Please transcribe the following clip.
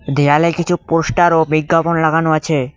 দেওয়ালে কিছু পোস্টার ও বিজ্ঞাপন লাগানো আছে।